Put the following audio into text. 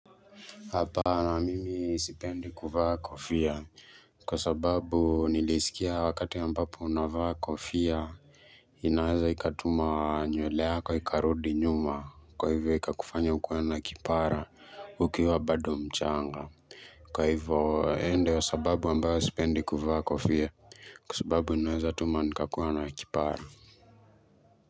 Hapana mimi sipendi kuvaa kofia kwa sababu nilisikia wakati ambapo unavaa kofia inaweza ikatuma nywele yako ikarudi nyuma kwa hivyo ikakufanya ukuwe na kipara ukiwa bado mchanga Kwa hivyo hiyo ndio sababu ambayo sipendi kuvaa kofia kwa sababu inaweza tuma nikakuwa na kipara.